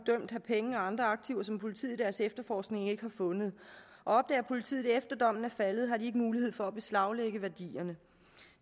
dømt have penge og andre aktiver som politiet i deres efterforskning ikke har fundet og opdager politiet det efter at dommen er faldet har de ikke mulighed for at beslaglægge værdierne